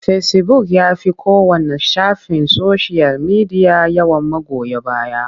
Fecibuk ya fi kowanne shafin soshiyal media yawan magoya baya.